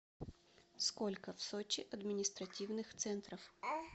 сколько в сочи административных центров